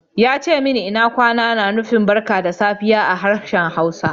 Ya ce min lna kwana na nufin "barka da safe" a harshen Hausa.